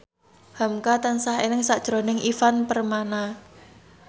hamka tansah eling sakjroning Ivan Permana